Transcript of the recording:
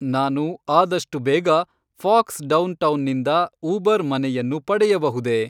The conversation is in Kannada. ನಾನು ಆದಷ್ಟು ಬೇಗ ಫಾಕ್ಸ್ ಡೌನ್‌ಟೌನ್‌ನಿಂದ ಉಬರ್ ಮನೆಯನ್ನು ಪಡೆಯಬಹುದೇ?